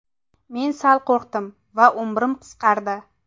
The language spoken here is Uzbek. Men sal qo‘rqdim va... umrim qisqardi.